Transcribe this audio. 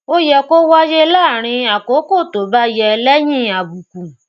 ó yẹ kó wáyé láàárín àkókò tó bá yẹ léyìn àbùkù